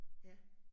Ja